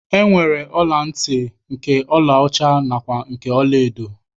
E nwere ọla ntị nke ọlaọcha nakwa nke ọlaedo